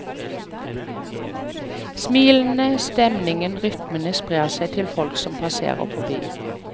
Smilene, stemningen og rytmene sprer seg til folk som passerer forbi.